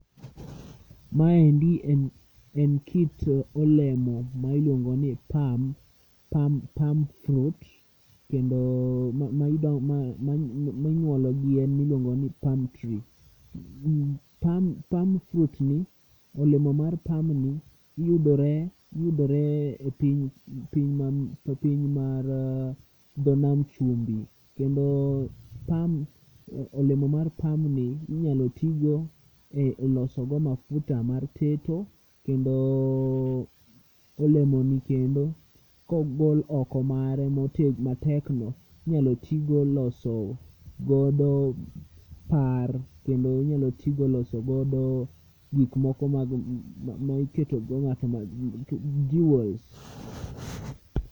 Maendi en, en kit olemo ma iluongo ni pam, palm fruit. Kendo ma ma minyuologi en miluongo ni palm fruit. Palm fruit ni olemo mar pam ni yudore, yudore e piny, piny e piny mar dho nam chumbi. Kendo pam, olemo mar pam ni inyalo tigo e loso go mafuta mar teto. Kendo olemoni kendo kogol oko mare matekno inyalo tigo loso godo par, kendo inyalo tigo loso godo gik moko mag maiketogo ng'at ma jewels.